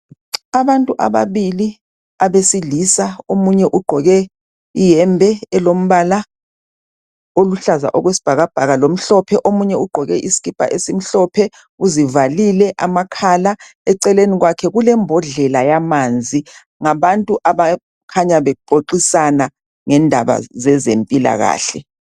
Abantu ababili abesilisa omunye ugqoke iyembe elombala oluhlaza okwesibhakabhaka lomhlophe, omunye ugqoke isikipa esimhlophe uzivalile amakhala eceleni kwakhe kulembodlela yamanzi ngabantu abakhanya bexoxisana ngendaba zezempilakahle.